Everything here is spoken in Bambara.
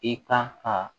I kan ka